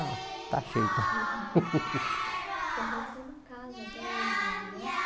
Está cheio então Você falou que tem uma casa até hoje lá, né?